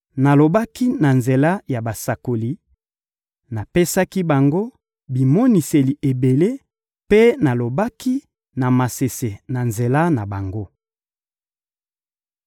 Nalobaki na nzela ya basakoli, napesaki bango bimoniseli ebele mpe nalobaki na masese na nzela na bango.